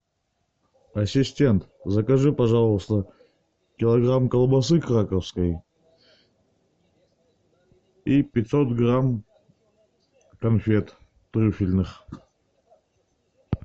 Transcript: ассистент закажи пожалуйста килограмм колбасы краковской и пятьсот грамм конфет трюфельных